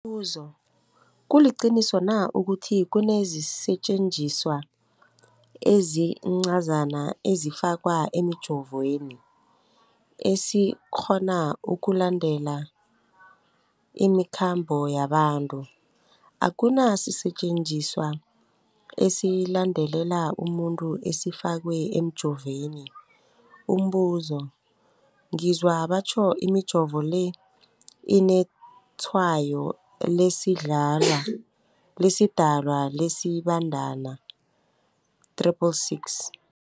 buzo, kuliqiniso na ukuthi kunesisetjenziswa esincazana esifakwa emijovweni, esikghona ukulandelela imikhambo yabantu? Akuna sisetjenziswa esilandelela umuntu esifakwe emijoveni. Umbuzo, ngizwa batjho imijovo le inetshayo lesiDalwa, lesiBandana 666.